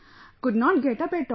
Couldn't get up at all